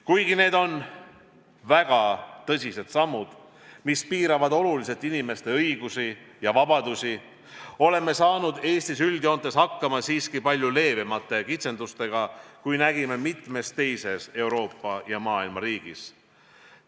Kuigi need on tõsised sammud, mis piiravad oluliselt inimeste õigusi ja vabadusi, oleme saanud Eestis üldjoontes hakkama siiski palju leebemate kitsendustega, kui nägime mitmes teises Euroopa ja maailma riigis.